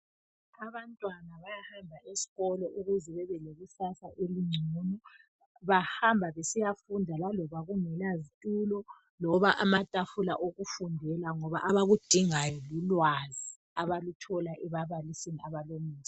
Abantwana bayahamba esikolo ukuze bebelekusasa elingcono . Bahamba besiyafunda laloba kungela zitulo loba amatafula okufundela ngoba abakudingayo lulwazi abaluthola ebabaliseni abalomusa.